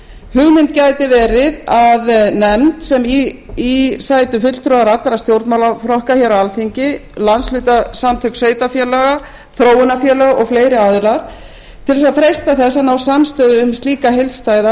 hugmynd gæti verið að nefnd sem í sætu fulltrúar allra stjórnmálaflokka á alþingi landshlutasamtök sveitarfélaga þróunarfélög og fleiri aðilar til að freista þess að ná samstöðu um slíka heildstæða